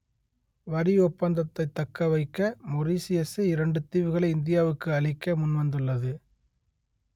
வரி ஒப்பந்தத்தைத் தக்க வைக்க மொரீசியசு இரண்டு தீவுகளை இந்தியாவுக்கு அளிக்க முன்வந்துள்ளது